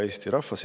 Hea Eesti rahvas!